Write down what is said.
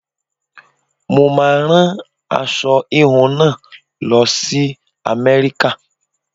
Mo máa rán aṣọ híhun náà lọ sí America.